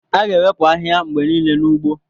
A ga-ewepụ ahịhịa mgbe niile n'ugbo.